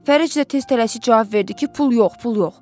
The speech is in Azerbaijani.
Fərəc də tez tələsik cavab verdi ki, pul yox, pul yox.